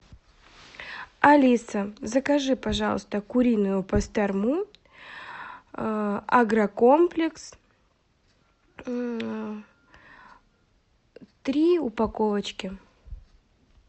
алиса закажи пожалуйста куриную пастрому агрокомплекс три упаковочки